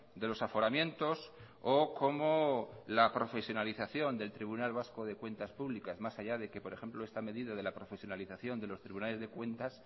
de los aforamientos o como la profesionalización del tribunal vasco de cuentas públicas más allá de que por ejemplo esta medida de la profesionalización de los tribunales de cuentas